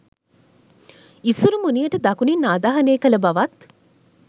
ඉසුරුමුණියට දකුණින් ආදාහනය කළ බවත්